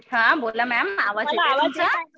हा बोला मॅम आवाज येत आहे तुमचा